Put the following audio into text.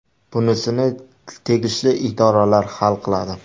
Bunisini tegishli idoralar hal qiladi.